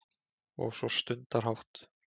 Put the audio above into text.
Og svo stundarhátt